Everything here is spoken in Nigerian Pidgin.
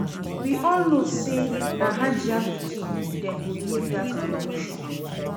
We all know say na Hajiya pikin dem go give dat promotion